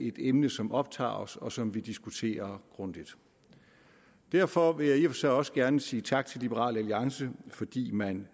et emne som optager os og som vi diskuterer grundigt derfor vil jeg i og for sig også gerne sige tak til liberal alliance fordi man